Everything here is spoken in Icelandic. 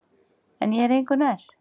En ég er engu nær.